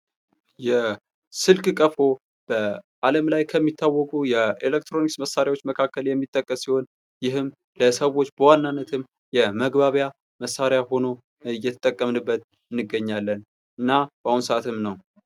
የስልክ ቀፎ በአለም ላይ ከሚታወቁ የኤሌክትሮኒክስ እቃዎች መካከል የሚጠቀስ ሲሆን ይህም የሰዎች በዋናነት የመግባቢያ መሳሪያ ሆኖ እየተጠቀምንበት እንገኛለን። እና በአሁኑ ሰዓትም ነዉ።